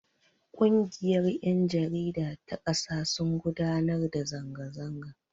Ƙungiyar yan jarida ta kasa sun gudanar da zanga zanga.